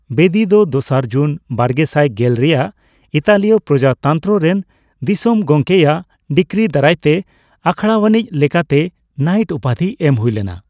ᱵᱮᱫᱤ ᱫᱚ ᱫᱚᱥᱟᱨ ᱡᱩᱱ ᱵᱟᱨᱜᱮᱥᱟᱭ ᱜᱮᱞ ᱼᱨᱮᱭᱟᱜ ᱤᱛᱟᱞᱤᱭᱚ ᱯᱨᱚᱡᱟᱛᱚᱱᱛᱨᱚ ᱨᱮᱱ ᱫᱤᱥᱚᱢ ᱜᱚᱢᱠᱮᱭᱟᱜ ᱰᱤᱠᱨᱤ ᱫᱟᱨᱟᱭᱛᱮ ᱟᱠᱷᱲᱟᱣᱟᱱᱤᱡ ᱞᱮᱠᱟᱛᱮ ᱱᱟᱭᱤᱴ ᱩᱯᱟᱫᱷᱤ ᱮᱢ ᱦᱩᱭᱞᱮᱱᱟ ᱾